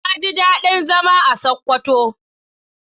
Na ji daɗin zama a Sokoto.